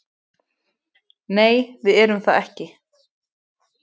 Nei, við erum það ekki